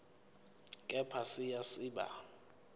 kepha siya siba